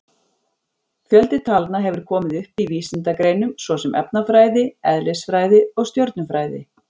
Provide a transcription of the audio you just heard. Fjöldi talna hefur komið upp í vísindagreinum svo sem efnafræði, eðlisfræði og stjörnufræði.